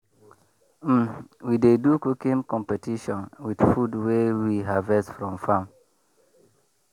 um we dey do cooking competition with food wey we harvest from farm.